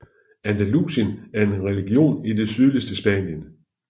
Andalusien er en region i det sydligste Spanien